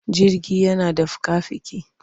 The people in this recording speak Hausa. Jirgi yana da fika-fiki.